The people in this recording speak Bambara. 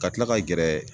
Ka tila ka gɛrɛ